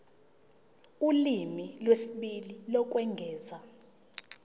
ulimi lwesibili lokwengeza